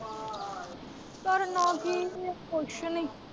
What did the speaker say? ਕਰਨਾ ਕੀ ਏ ਕੁੱਛ ਨੀ।